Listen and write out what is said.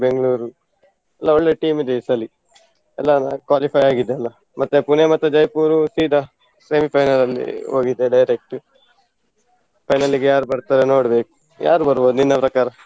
Bengaluru ಎಲ್ಲ ಒಳ್ಳೆ team ಇದೆ ಈ ಸಲಿ. ಎಲ್ಲ qualify ಆಗಿದೆಲ್ಲ, ಮತ್ತೆ Pune ಮತ್ತು Jaipur ಸೀದಾ semi final ಅಲ್ಲಿ ಹೋಗಿದೆ direct final ಗೆ ಯಾರ್ ಬರ್ತಾರೆ ನೋಡ್ಬೇಕು. ಯಾರು ಬರ್ಬೋದು ನಿನ್ನ ಪ್ರಕಾರ?